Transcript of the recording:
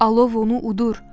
Alov onu udur.